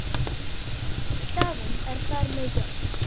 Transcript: Staðan er þar með jöfn.